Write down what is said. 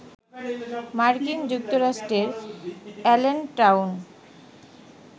মার্কিন যুক্তরাষ্ট্রের এলেনটাউন,